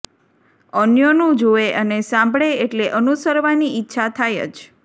અન્યોનું જુએે અને સાંભળે એટલે અનુસરવાની ઈચ્છા થાય જ